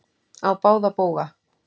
Á báða bóga.